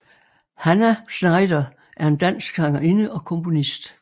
Hannah Schneider er en dansk sangerinde og komponist